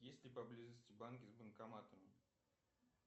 есть ли поблизости банки с банкоматами